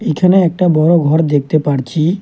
এখানে একটা বড় ঘর দেখতে পারছি।